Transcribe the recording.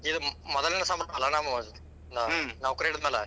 ಇದ ಮೊದಲನೆ ಸಂಬಳ ಅಲ ನಮ್ದ್ ನೌಕರಿ ಹಿಡಿದ್ಮ್ಯಾಲೆ.